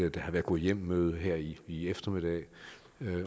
at der har været gå hjem møde her i i eftermiddag